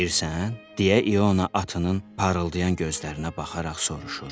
Gövşəyirsən, deyə İona atının parıldayan gözlərinə baxaraq soruşur.